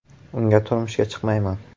“Unga turmushga chiqmayman”.